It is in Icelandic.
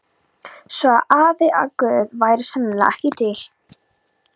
Svo sagði afi að Guð væri sennilega ekki til.